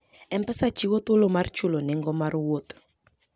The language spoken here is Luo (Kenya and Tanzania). M-Pesa chiwo thuolo mar chulo nengo mar wuoth.